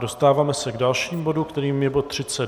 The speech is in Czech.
Dostáváme se k dalšímu bodu, kterým je bod